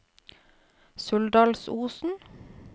Suldalsosen